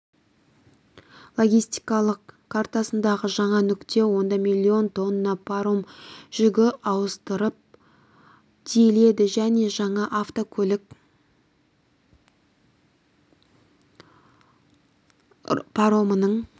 логистикалық картасындағы жаңа нүкте онда миллион тонна паром жүгі ауыстырып тиеледі және жаңа автокөлік паромының